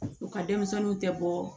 U ka denmisɛnninw tɛ bɔ